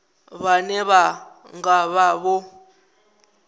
vhane vha nga vha vho